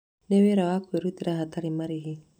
Nĩ wĩra wa kwĩrutĩra hatarĩ marĩhi.